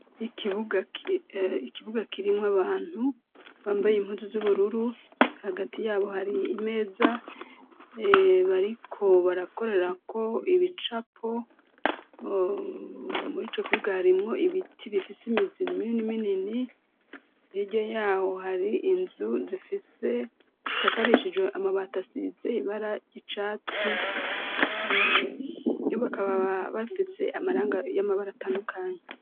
Ikibuga kirimwo abantu bambaye impuzu z'ubururu hagati yabo hari imeza bariko barakorerako ibicapo muri co kibuga harimwo ibiti bifise imizinmiro n'iminini ntiryo yaho hari inzu zifise e zisakarishijwe amabato asize bara ryicatsi yo bakabaa bafitse amaranga y'amabara atandukanye.